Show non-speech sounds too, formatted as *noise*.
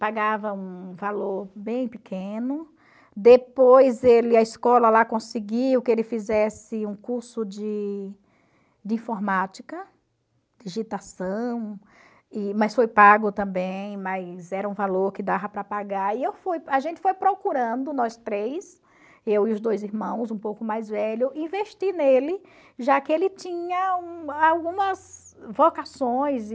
pagava um valor bem pequeno, depois ele, a escola lá conseguiu que ele fizesse um curso de de informática, digitação, e mas foi pago também, mas era um valor que dava para pagar, e eu fui a gente foi procurando, nós três, eu e os dois irmãos, um pouco mais velho, investir nele, já que ele tinha *unintelligible* algumas vocações e